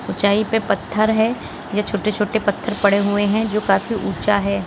ऊंचाई पे पत्थर है या छोटे छोटे पत्थर पड़े हुए हैं जो काफी ऊंचा है।